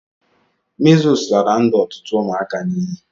Measles lara ndụ otutu ụmụaka n'ighi